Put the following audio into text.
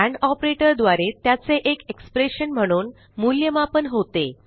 end operator द्वारे त्याचे एक एक्सप्रेशन म्हणून मूल्यमापन होते